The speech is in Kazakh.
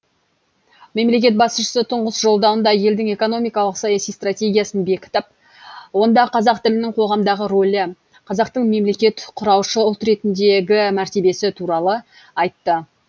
мемлекет басшысы тұңғыш жолдауында елдің экономикалық саяси стратегиясын бекітіп онда қазақ тілінің қоғамдағы ролі қазақтың мемлекет құраушы ұл ретіндегі мәртебесі туралы айтты